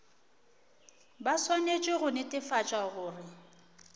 ba swanetše go netefatša gore